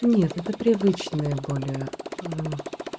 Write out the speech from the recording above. нет это привычное более аа